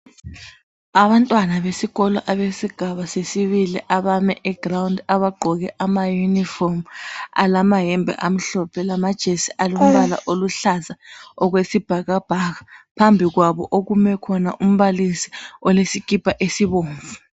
Abantwana besikolo abesigaba sesibili abame ground abagqoke abalamauniform alamayembe amhlophe lamajesi alombala oluhlaza okwesibhakabhaka phambi kwabo kume umbalisi ogqoke isikipa esibomvu